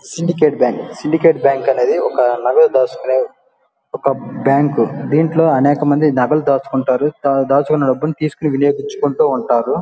Syndicate bank syndicate bank అనేది ఒక నగదు దాచుకునే ఒక బ్యాంక్ దీంట్లో అనేకమంది నగలు దాచుకుంటారు.దాచుకున్న డబ్బులని తీసుకుని వినియోగించుకుంటూ ఉంటారు.